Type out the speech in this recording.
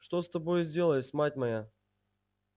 что с тобою сделалось мать моя